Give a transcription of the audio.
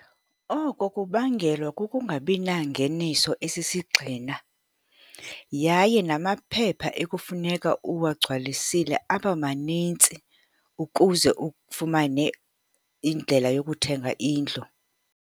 Oko kubangelwa kukungabi nangeniso esisigxina, yaye namaphepha ekufuneka uwagcwasile aba manintsi, ukuze ufumane indlela yokuthenga indlu.